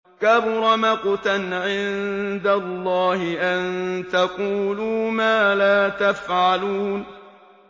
كَبُرَ مَقْتًا عِندَ اللَّهِ أَن تَقُولُوا مَا لَا تَفْعَلُونَ